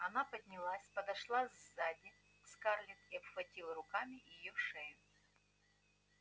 она поднялась подошла сзади к скарлетт и обхватила руками её шею